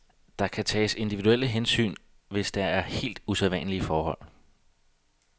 Der kan tages individuelle hensyn, hvis der er helt usædvanlige forhold.